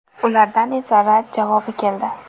Ulardan esa rad javobi keldi.